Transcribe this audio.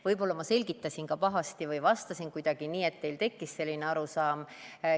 Võib-olla ma selgitasin pahasti või vastasin kuidagi nii, et teil tekkis selline arusaam.